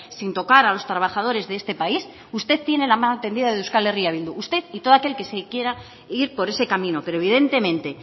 sin tocar a los trabajadores de este país usted tiene la mano tendida de euskal herria bildu usted y todo aquel que se quiera ir por ese camino pero evidentemente